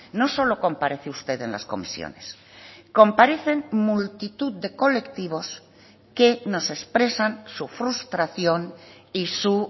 no solo comparece usted en las comisiones comparecen multitud de colectivos que nos expresan su frustración y su